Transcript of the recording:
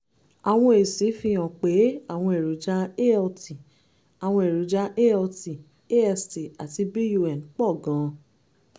àwọn èsì fihàn pé àwọn èròjà alt àwọn èròjà alt ast àti bun pọ̀ gan-an